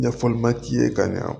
Ɲɛfɔli ma k'i ye ka ɲa